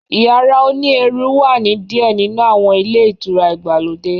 Yara òní ẹrù wà ni diẹ ninu awọn ilé itúrá igbalode